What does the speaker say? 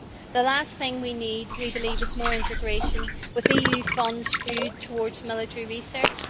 The last thing we need, I believe, is more integration with EU funds skewed towards military research.